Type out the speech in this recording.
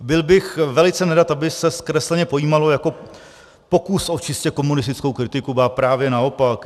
Byl bych velice nerad, aby se zkresleně pojímalo jako pokus o čistě komunistickou kritiku, ba právě naopak.